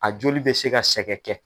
A joli bɛ se ka sɛgɛ kɛ.